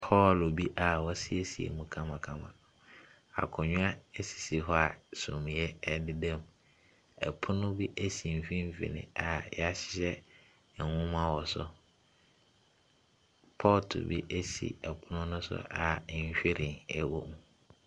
Hall bi a wɔasiesie mu kamakama. Akonnwa sisi hɔ sumiiɛ dedam. Pono bi si mfimfini a wɔahyehyɛ nwoma wɔ so. Pɔɔto bi si pono no so a nhwiren wom.